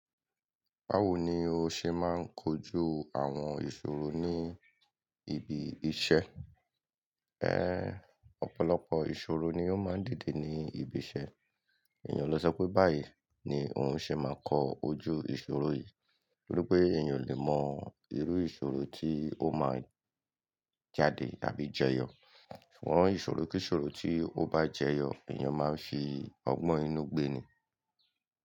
Báwo ni o ṣe máa ń kojú àwọn ìṣòro ní ibi iṣẹ́? Ẹ́, ọ̀pọ̀lọpọ̀ ìṣòro ni ó máa ń dìde ní ibi iṣẹ́. Èèyàn ló sọ pé báyìí ni òun ṣe máa kọ ojú ìṣòro yìí, nítorí pé èèyàn lè mọ irú ìṣòro tí ó máa jáde tàbí jẹyọ. A mo ìṣòro kí ìṣòro tí ó bá jẹyọ, èèyàn máa ń fi ọgbọ́n inú gbé ni.